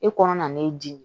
E kɔnɔ na n'e dimi